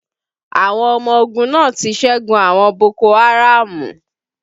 Àwọn ọmọ ogun náà ti ṣẹ́gun àwọn boko haraamu